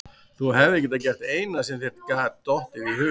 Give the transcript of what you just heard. Þú hefðir gert það eina sem þér gat dottið í hug.